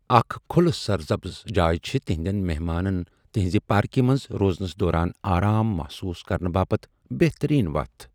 اكھ كھٗلہٕ سر سبز جایہ چھے٘ تٗہندین مہمانن تٗہنزِ پاركہِ منز روزنس دوران آرام محصوص كرنہٕ باپت بہترین وتھ ۔َ